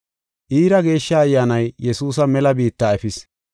Iira Geeshsha Ayyaanay Yesuusa mela biitta efis.